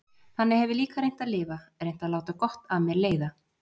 Þannig hef ég líka reynt að lifa, reynt að láta gott af mér leiða.